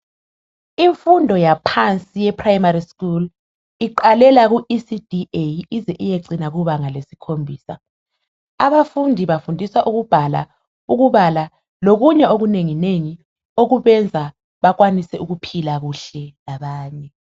Imfundo yaphansi ye primary school iqalela ku ECDA ize iyecina kubanga lesikhombisa . Abafundi bafundiswa ukubhala , ukubala lokunye okunengi nengi okubenza bakwanise ukuphila kuhle labanye .